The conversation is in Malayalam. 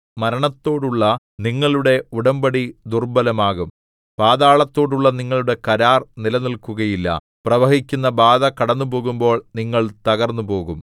മരണത്തോടുള്ള നിങ്ങളുടെ ഉടമ്പടി ദുർബ്ബലമാകും പാതാളത്തോടുള്ള നിങ്ങളുടെ കരാർ നിലനില്‍ക്കുകയില്ല പ്രവഹിക്കുന്ന ബാധ കടന്നുപോകുമ്പോൾ നിങ്ങൾ തകർന്നുപോകും